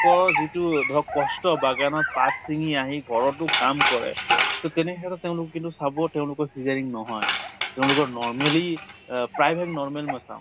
কৰ যিটো ধৰক কষ্ট বাগানত পাত চিঙ্গি আহি ঘৰতো কাম কৰে, তʼ তেনে ক্ষেত্ৰত তেওঁলোক কিন্তু চাব তেওঁলোকৰ ceaserean নহয়। তেওঁলোকৰ normally অহ প্ৰায় ভাগ normal মই চাওঁ।